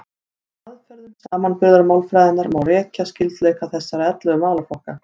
Með aðferðum samanburðarmálfræðinnar má rekja skyldleika þessara ellefu málaflokka.